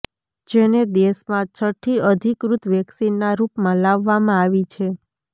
જેને દેશમાં છઠ્ઠી અધિકૃત વેક્સિનના રુપમાં લાવવામાં આવી છે